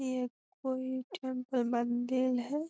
ये कोई टेम्पल मंदिर है।